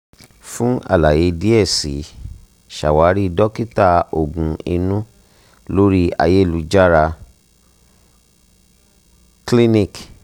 fun alaye diẹ sii ṣawari dokita oogun inu lori ayelujara clinic